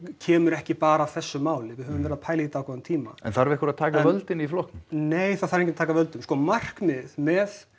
kemur ekki bara af þessu máli við höfum verið að pæla í dágóðan tíma en þarf einhver að taka völdin í flokknum nei það þarf enginn að taka völdin sko markmiðið með